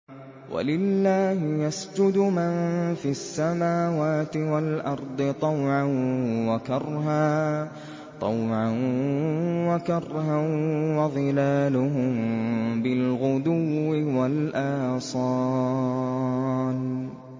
وَلِلَّهِ يَسْجُدُ مَن فِي السَّمَاوَاتِ وَالْأَرْضِ طَوْعًا وَكَرْهًا وَظِلَالُهُم بِالْغُدُوِّ وَالْآصَالِ ۩